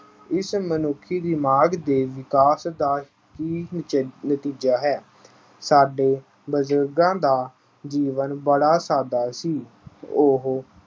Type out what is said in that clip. ਇਸ ਮਨੁੱਖੀ ਦਿਮਾਗ ਦੇ ਵਿਕਾਸ ਦਾ ਹੀ ਨਤਜ ਅਹ ਨਤੀਜਾ ਹੈ। ਸਾਡੇ ਬਜ਼ੁਰਗਾਂ ਦਾ ਜੀਵਨ ਬੜਾ ਸਾਦਾ ਸੀ। ਉਹ